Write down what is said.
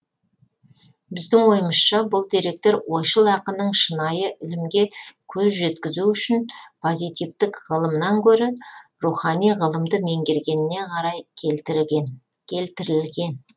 біздің ойымызша бұл деректер ойшыл ақынның шынайы ілімге көз жеткізу үшін позитивтік ғылымнан гөрі рухани ғылымды меңгергеніне қарай келтірілген